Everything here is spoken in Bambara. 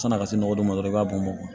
San'a ka se nɔgɔ dɔ ma dɔrɔn i b'a bɔn bɔn